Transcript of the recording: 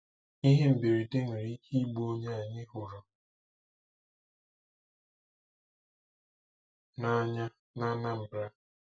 Ihe mberede nwere ike igbu onye anyị hụrụ n'anya n'Anambra.